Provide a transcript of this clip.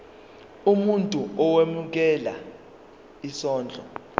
umuntu owemukela isondlo